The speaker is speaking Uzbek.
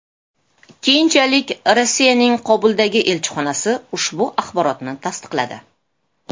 Keyinchalik Rossiyaning Kobuldagi elchixonasi ushbu axborotni tasdiqladi .